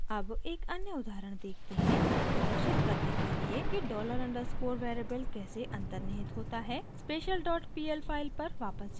अब एक अन्य उदाहरण देखते हैं यह प्रदर्शित करने के लिए कि $_ डॉलर अंडरस्कोर वेरिएबल कैसे अन्तर्निहित होता है special dot pl file पर वापस जाते हैं